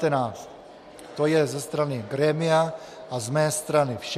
To je ze strany grémia a z mé strany vše.